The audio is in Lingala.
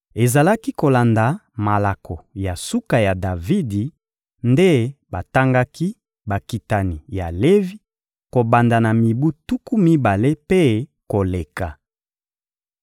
Ezalaki kolanda malako ya suka ya Davidi nde batangaki bakitani ya Levi kobanda na mibu tuku mibale mpe koleka.